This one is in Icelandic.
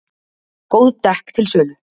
Góð dekk til sölu